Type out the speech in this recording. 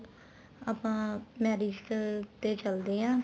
ਆਪਾਂ marriage ਤੇ ਚੱਲਦੇ ਹਾਂ